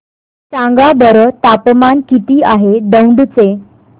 सांगा बरं तापमान किती आहे दौंड चे